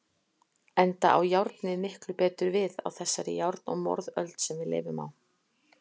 Enda á járnið miklu betur við á þessari járn- og morðöld sem við lifum á.